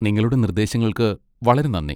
നിങ്ങളുടെ നിർദ്ദേശങ്ങൾക്ക് വളരെ നന്ദി.